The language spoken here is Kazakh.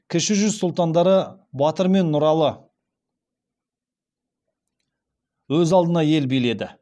кіші жүз сұлтандары батыр мен нұралы өз алдына ел биледі